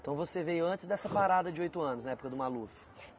Então você veio antes dessa parada de oito anos, na época do Maluf?